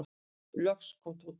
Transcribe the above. Loks kom Tóti.